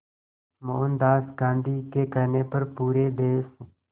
मोहनदास गांधी के कहने पर पूरे देश